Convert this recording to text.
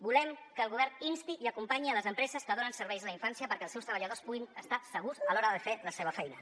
volem que el govern insti i acompanyi les empreses que donen serveis a la infància perquè els seus treballadors puguin estar segurs a l’hora de fer la seva feina